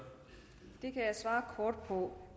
om